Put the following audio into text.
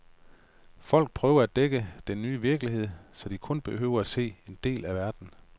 Folk prøver at dække den nye virkelighed, så de kun behøver at se en del af verden.